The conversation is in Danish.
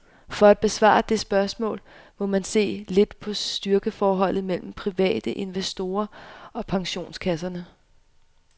For at besvare det spørgsmål må man se lidt på styrkeforholdet mellem private investorer og pensionskasserne.